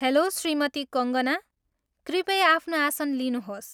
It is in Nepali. हेल्लो, श्रीमती कङ्गना! कृपया आफ्नो आसन लिनुहोस्।